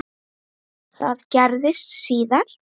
Það gerðist síðar.